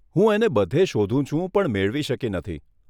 હું એને બધે શોધું છું, પણ મેળવી શકી નથી.